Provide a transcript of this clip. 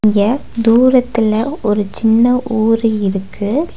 இங்க தூரத்தில ஒரு சின்ன ஊரு இருக்கு.